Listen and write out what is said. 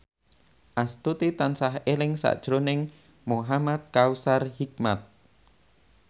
Astuti tansah eling sakjroning Muhamad Kautsar Hikmat